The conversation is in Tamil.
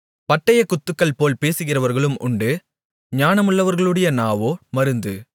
பட்டயக்குத்துகள்போல் பேசுகிறவர்களும் உண்டு ஞானமுள்ளவர்களுடைய நாவோ மருந்து